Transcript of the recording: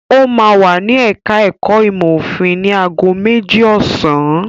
Ó máa wà ní ẹ̀ka-ẹ̀kọ́ ìmọ̀-òfin ní ago méjì ọ̀sán.